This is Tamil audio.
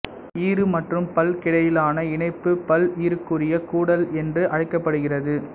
ஈறு மற்றும் பல்லுக்கிடையிலான இணைப்பு பல்ஈறுக்குரிய கூடல் என்று அழைக்கப்படுகிறது